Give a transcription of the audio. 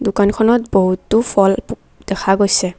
দোকানখনত বহুতো ফল প দেখা গৈছে।